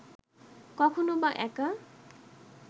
কখনো-বা একা